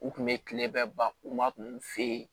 U kun bɛ kile bɛɛ ban kuma fe yen